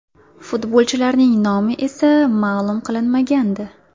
Futbolchilarning nomi esa ma’lum qilinmagandi.